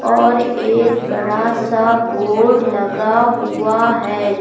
और एक बड़ा सा बोर्ड लगा हुआ है।